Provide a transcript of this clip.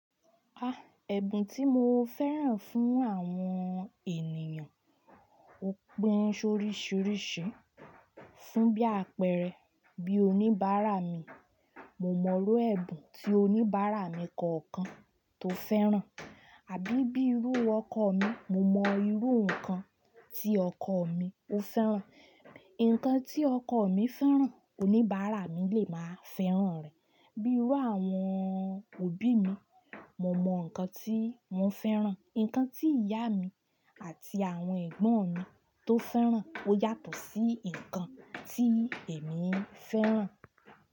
Ah! Ẹ̀bùn tí mo fẹ́ràn fún àwọn ènìyàn ó pín ṣoríṣìríṣìí. Fún bí àpẹẹrẹ bí oníbàárà mi, mo mọ̀ ọ́n ẹ̀bùn tí oníbàárà mi kọ̀ọ̀kan tó fẹ́ràn. Àbí bíi irú ọkọ mi, mo mọ irú nǹkan tí ọkọ mi ó fẹ́ràn. Ǹkan tí ọkọ mi fẹ́ràn, oníbàárà mi lè máa fẹ́ràn rẹ̀. Bírú àwọn òbí mi, mo mọ nǹkan tí wọ́n fẹ́ràn. Ǹkan tí ìyá mi àti àwọn ẹ̀gbọ́n mi tó fẹ́ràn ó yàtọ̀ sí nǹkan tí èmi fẹ́ràn.